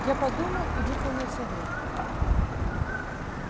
я подумал и выполнил совет